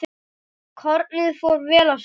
Kornið fór vel af stað.